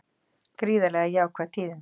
Gríðarlega jákvæð tíðindi